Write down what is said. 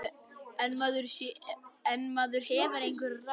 En maður hefur einhver ráð.